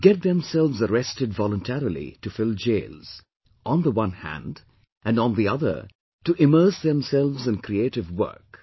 To get themselves arrested voluntarily to fill jails, on the one hand, and on the other to immerse themselves in creative work